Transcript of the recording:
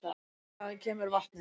Hvaðan kemur vatnið?